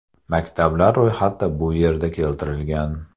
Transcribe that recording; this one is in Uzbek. Maktablar ro‘yxati bu yerda keltirilgan.